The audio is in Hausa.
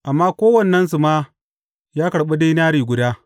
Amma kowannensu ma ya karɓi dinari guda.